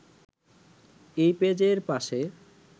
এই পেজের পাশে